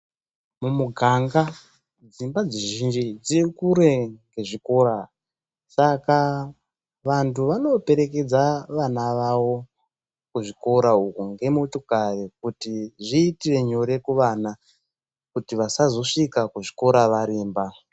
Mumuganga dzimba dzizhinji dziri kure nezvichikora, saka vantu vanoperekedza vana vavo kuzvikora uku ngemotokari kuti zviyite nyore kuvana kuti vasazosvika kuzvikora varemba.